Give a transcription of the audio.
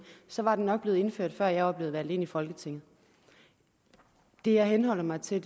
så var det nok blevet indført før jeg var blevet valgt ind i folketinget det jeg henholder mig til